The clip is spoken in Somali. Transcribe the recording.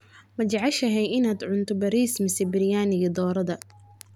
majeceshahay inanad cuntoo bariis misee biryaniga doraadha.